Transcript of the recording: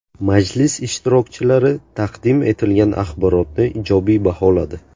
Majlis ishtirokchilari taqdim etilgan axborotni ijobiy baholadi.